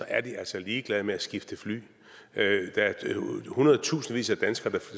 er de altså ligeglade med at skifte fly der er hundredtusindvis af danskere der